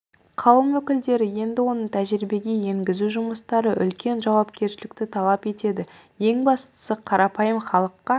қауым өкілдері енді оны тәжірибеге енгізу жұмыстары үлкен жауапкершілікті талап етеді ең бастысы қарапайым халыққа